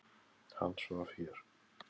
Hann svaf hér.